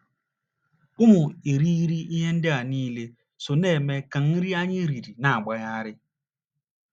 Ụmụ irighiri ihe ndị a niile so na - eme ka nri anyị riri na - agbari.